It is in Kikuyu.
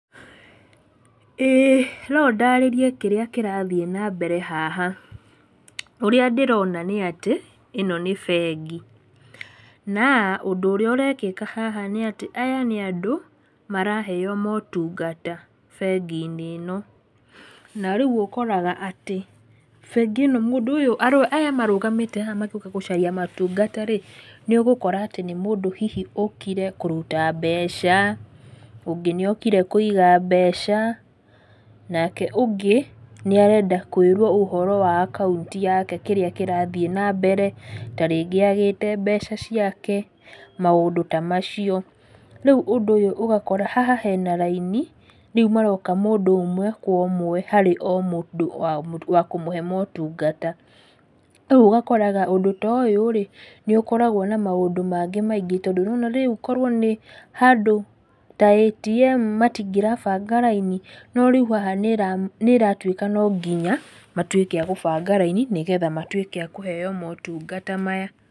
ĩĩ no ndarĩrie kĩrĩa kĩrathiĩ nambere haha, ũrĩa ndĩrona nĩ atĩ, ĩno nĩ bengi, na ũndũ ũrĩa ũrekĩka haha nĩ atĩ aya nĩ andũ maraheo motungata bengi-inĩ ĩno, na rĩu ũkoraga atĩ bengi ĩno mũndũ ũyũ andũ aya marũgamĩte haha magĩũka gũcaria motungata rĩ, nĩ ũgũkora atĩ nĩ mũndũ hihi ũkire kũruta mbeca, ũngĩ nĩ okire kũiga mbeca, nake ũndĩ nĩ arenda kũĩrwo ũhoro wa akaunti yake kĩrĩa kĩrathiĩ nambere ta rĩngĩ agĩĩte mbeca ciake, maũndũ ta macio. Rĩu ũndũ ũyũ ũgakora haha hena raini, rĩu maroka mũndũ ũmwe kwa ũmwe harĩ o mũndũ wa kũmũhe motungata, rĩu ũgakoraga ũndũ ta ũyũ rĩ, nĩ ũkoragwo na maũndũ mangĩ maingĩ tondũ nĩwona rĩu korwo nĩ handũ ta ATM matingĩrabanga raini, no rĩu haha nĩ ĩratuĩka no nginya matuĩke a gũbanga raini nĩgetha matuĩke a kũheo motungata maya.